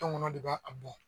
Tɔnkɔnɔn de b'a a bɔ